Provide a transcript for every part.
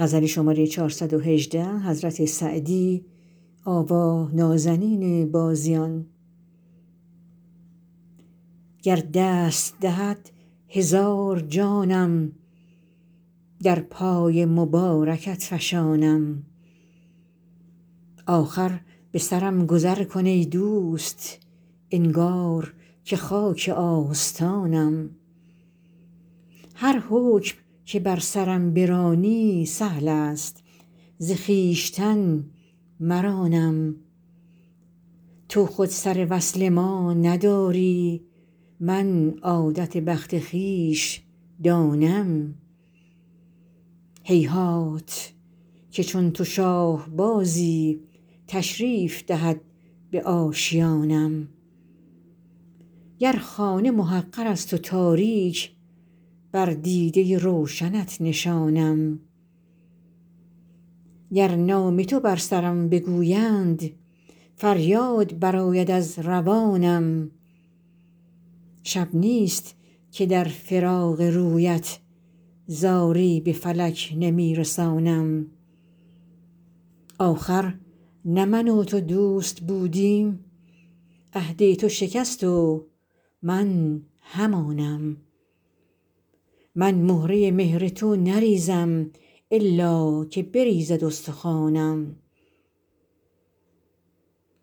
گر دست دهد هزار جانم در پای مبارکت فشانم آخر به سرم گذر کن ای دوست انگار که خاک آستانم هر حکم که بر سرم برانی سهل است ز خویشتن مرانم تو خود سر وصل ما نداری من عادت بخت خویش دانم هیهات که چون تو شاه بازی تشریف دهد به آشیانم گر خانه محقر است و تاریک بر دیده روشنت نشانم گر نام تو بر سرم بگویند فریاد برآید از روانم شب نیست که در فراق رویت زاری به فلک نمی رسانم آخر نه من و تو دوست بودیم عهد تو شکست و من همانم من مهره مهر تو نریزم الا که بریزد استخوانم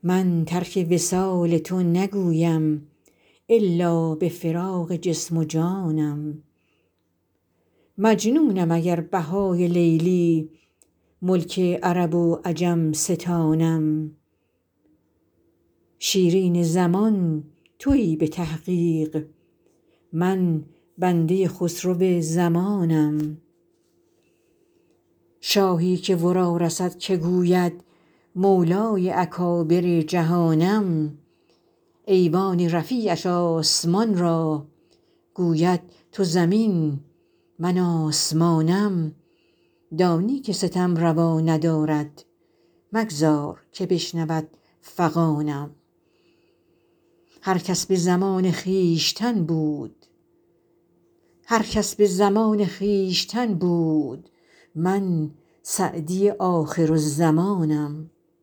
من ترک وصال تو نگویم الا به فراق جسم و جانم مجنونم اگر بهای لیلی ملک عرب و عجم ستانم شیرین زمان تویی به تحقیق من بنده خسرو زمانم شاهی که ورا رسد که گوید مولای اکابر جهانم ایوان رفیعش آسمان را گوید تو زمین من آسمانم دانی که ستم روا ندارد مگذار که بشنود فغانم هر کس به زمان خویشتن بود من سعدی آخرالزمانم